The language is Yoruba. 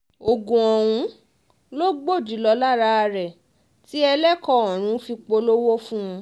oògùn ọ̀hún ló gbòdì lára rẹ̀ tí ẹlẹ́kọ̀ ọ̀run fi polówó fún un